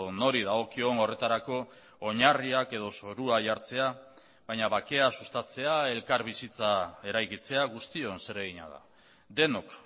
nori dagokion horretarako oinarriak edo zorua jartzea baina bakea sustatzea elkarbizitza eraikitzea guztion zeregina da denok